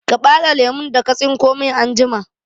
Ka ɓare lemun da ka tsinko min anjima!